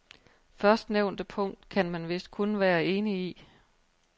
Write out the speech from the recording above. Førstnævnte punkt kan man vist kun være enig i.